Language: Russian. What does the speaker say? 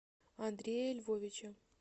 андрея львовича